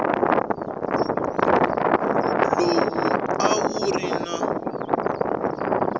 lowu a wu ri na